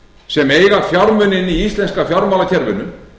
sem eiga fjármuni inni í íslenska fjármálakerfinu